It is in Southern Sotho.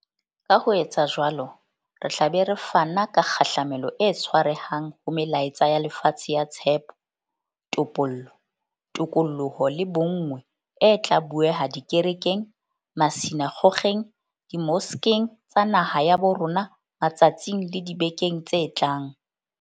Ka ho etsa jwalo, re tla be re fana ka kgahlamelo e tshwarehang ho melaetsa ya lefatshe ya tshepo, topollo, tokoloho le bonngwe e tla bueha dikerekeng, masina kgokgeng, dimoskeng tsa naha ya bo rona matsatsing le dibekeng tse tlang.